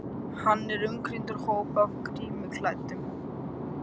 Hann er umkringdur hópi af grímuklæddum